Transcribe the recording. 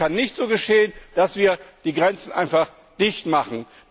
Aber es kann nicht so geschehen, dass wir die Grenzen einfach dicht machen.